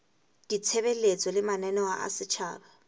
ditshebeletso le mananeo a setjhaba